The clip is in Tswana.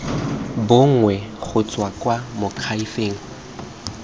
bonwe go tswa kwa moakhaefeng